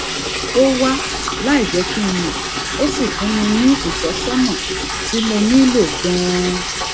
ó wá láìjé kí n mò ó sì fún mi ní ìtósónà tí mo nílò ganan